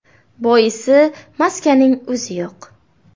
Boisi, maskaning o‘zi yo‘q.